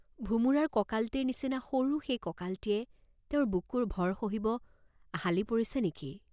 ভোমোৰাৰ কঁকালটিৰ নিচিনা সৰু সেই কঁকালটিয়ে তেওঁৰ বুকুৰ ভৰ সহিব হালি পৰিছে নে কি?